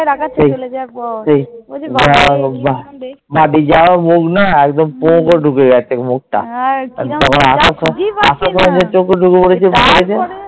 তাকাচ্ছে চলে যাওয়ার পর